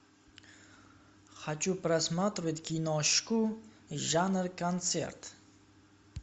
хочу просматривать киношку жанр концерт